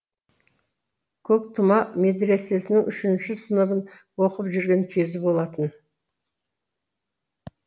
көктұма медресесінің үшінші сыныбын оқып жүрген кезі болатын